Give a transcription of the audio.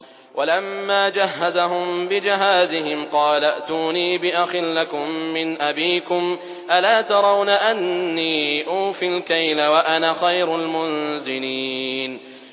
وَلَمَّا جَهَّزَهُم بِجَهَازِهِمْ قَالَ ائْتُونِي بِأَخٍ لَّكُم مِّنْ أَبِيكُمْ ۚ أَلَا تَرَوْنَ أَنِّي أُوفِي الْكَيْلَ وَأَنَا خَيْرُ الْمُنزِلِينَ